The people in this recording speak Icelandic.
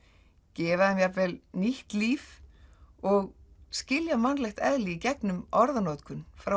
gefa þeim jafnvel nýtt líf og skilja mannlegt eðli gegnum orðanotkun frá